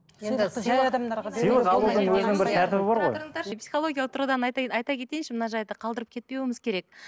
тұра тұрыңыздаршы психологиялық тұрғыдан айта айта кетейінші мына жайды қалдырып кетпеуіміз керек